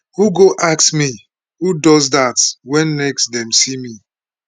who go ask me who does dat wen next dem see me